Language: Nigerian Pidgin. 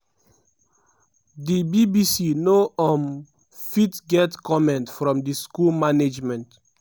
di bbc no um fit get comment from di school management.